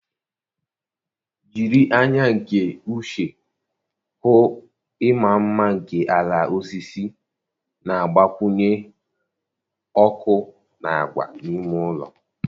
Jiri anya nke uche hụ ịma mma nke ala osisi na-agbakwunye ọkụ na agwa n'ime ụlọ